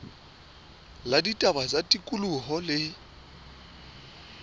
la ditaba tsa tikoloho le